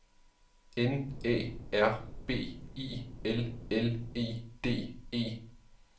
N Æ R B I L L E D E